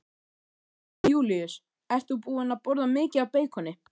Jón Júlíus: Ert þú búin að borða mikið af beikoni?